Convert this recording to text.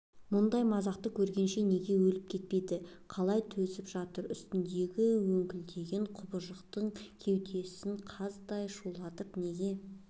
бұл мазақты көргенше неге өліп кетпейді қалай төзіп жатыр үстіндегі өңкілдеген құбыжықты кеудесін қаздай шулатып неге